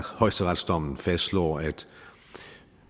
højesteretsdommen fastslår at